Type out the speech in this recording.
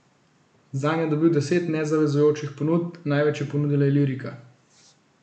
Zanj je dobil deset nezavezujočih ponudb, največ je ponudila Ilirika.